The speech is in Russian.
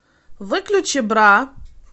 выключи бра